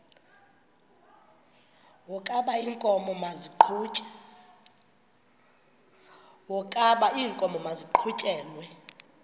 wokaba iinkomo maziqhutyelwe